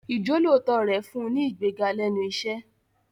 Ìjọ́lóòótọ́ rẹ̀ fún un ní ìgbéga lẹ́nu iṣẹ́.